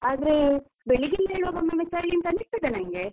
ಆದ್ರೆ ಬೆಳಿಗ್ಗೆ ಎಲ್ಲ ಏಳುವಾಗ ಒಮ್ಮೊಮ್ಮೆ ಚಳಿ ಅಂತ ಅನಿಸುತ್ತದೆ ನಂಗೆ.